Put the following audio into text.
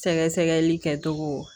Sɛgɛsɛgɛli kɛcogo